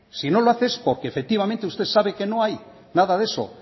si no lo hace es porque efectivamente usted sabe que no hay nada de eso